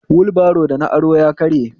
Wulbro da na aro ya karye